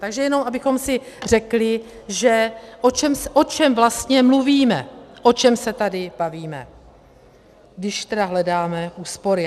Takže jenom abychom si řekli, o čem vlastně mluvíme, o čem se tady bavíme, když tedy hledáme úspory.